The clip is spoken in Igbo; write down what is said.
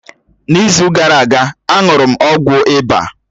N’izu gara aga, a ṅụrụ m ọgwụ ịba